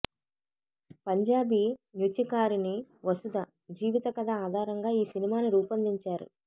పంజాబీ నృత్యకారిణి వసుధ జీవిత కథ ఆధారంగా ఈ సినిమాను రూపొందించారు